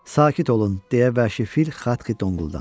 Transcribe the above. Sakit olun, deyə Vəhşi Fil Xatxi tonquldandı.